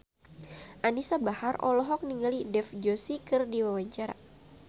Anisa Bahar olohok ningali Dev Joshi keur diwawancara